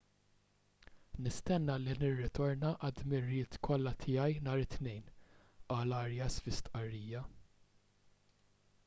nistenna li nirritorna għad-dmirijiet kollha tiegħi nhar it-tnejn qal arias fi stqarrija